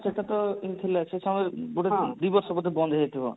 ସେଇଟା ତ ଏମିତି ଥିଲା ସେ ସମୟ ରେ ବୋଧେ ଦି ବର୍ଷ ଏମିତି ବନ୍ଦ ହେଇଯାଇଥିଲା